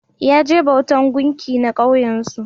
Ya je bautan gumki na kauyen su